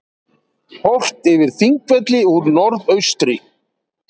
Horft yfir Þingvelli úr norðaustri.